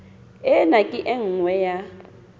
ena ke e nngwe ya